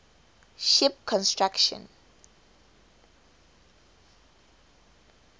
ship construction